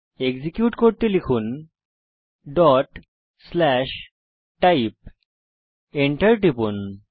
execute করতে লিখুন type Enter টিপুন